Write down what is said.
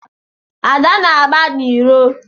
Ada na-agba n'iro.